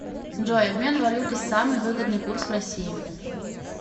джой обмен валюты самый выгодный курс в россии